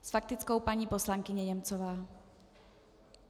S faktickou paní poslankyně Němcová.